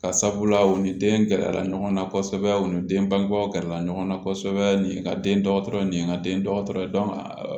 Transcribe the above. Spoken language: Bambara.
Ka sabula u ni den gɛrɛla ɲɔgɔnna kosɛbɛ u ni den bangebaw gɛrɛla ɲɔgɔnna kosɛbɛ nin ye ka den dɔgɔtɔrɔ ye nin ye n ka den dɔgɔtɔrɔ ye